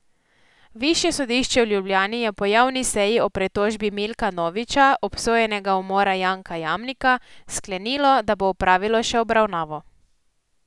Višje sodišče v Ljubljani je po javni seji o pritožbi Milka Noviča, obsojenega umora Janka Jamnika, sklenilo, da bo opravilo še obravnavo.